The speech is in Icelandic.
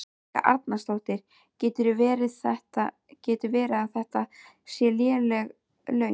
Helga Arnardóttir: Getur verið að þetta séu léleg laun?